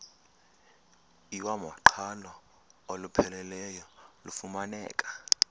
iwamaqhalo olupheleleyo lufumaneka